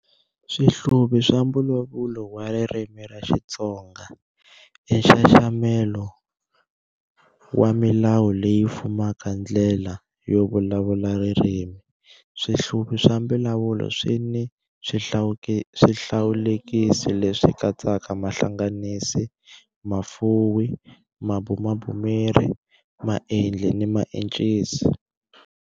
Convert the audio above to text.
Swihluvi swa mbulavulo wa ririmi ra Xitsonga, i nxaxamelo wa milawu leyi fumaka ndlela yo vulavula ririmi. Swihluvi swa mbulavulo swi ni swihlawulekisi leswi katsaka mahlanganisi, mafuwi, mabumabumeri, maendli ni maencisi.